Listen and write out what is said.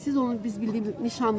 Siz onu biz bildiyimiz nişanlısız?